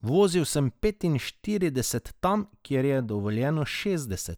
Vozil sem petinšestdeset tam, kjer je dovoljeno štirideset.